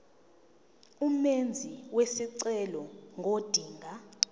umenzi wesicelo ngodinga